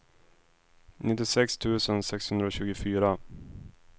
nittiosex tusen sexhundratjugofyra